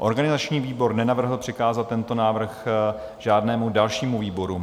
Organizační výbor nenavrhl přikázat tento návrh žádnému dalšímu výboru.